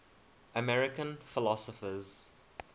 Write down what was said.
american philosophers